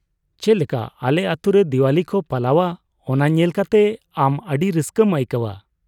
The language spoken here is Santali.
ᱪᱮᱫᱞᱮᱠᱟ ᱟᱞᱮ ᱟᱹᱛᱩ ᱨᱮ ᱫᱤᱣᱟᱞᱤ ᱠᱚ ᱯᱟᱞᱟᱣᱼᱟ ᱚᱱᱟ ᱧᱮᱞ ᱠᱟᱛᱮ ᱟᱢ ᱟᱹᱰᱤ ᱨᱟᱹᱥᱠᱟᱹᱢ ᱟᱹᱭᱠᱟᱹᱣᱼᱟ ᱾